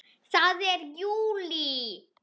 Það er JÚLÍ!